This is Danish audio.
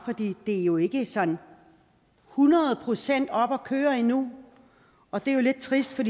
det er jo ikke sådan hundrede procent oppe at køre endnu og det er lidt trist for